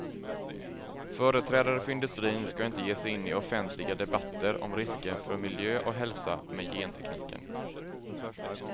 Företrädare för industrin ska inte ge sig in i offentliga debatter om risker för miljö och hälsa med gentekniken.